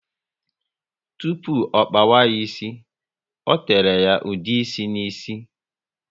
Tupu ọ kpawa ya ísì, o tere ya ude ịsị ná ísì